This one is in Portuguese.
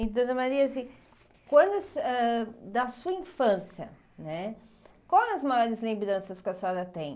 E dona Maria assim quando ãh, da sua infância, né quais as maiores lembranças que a senhora tem?